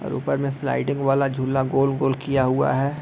और ऊपर में स्लाइडिंग वाला झूला गोल-गोल किया हुआ है।